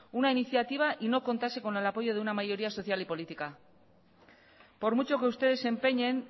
una iniciativa y no contase con el apoyo de una mayoría social y política por mucho que ustedes se empeñen